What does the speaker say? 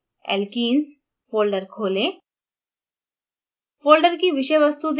उदाहरण के लिए alkenes folder खोलें